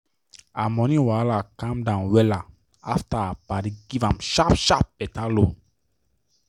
her money wahala calm down wella after her padi give am sharp sharp better loan.